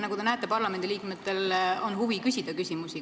Nagu te näete, parlamendiliikmetel on huvi küsida küsimusi.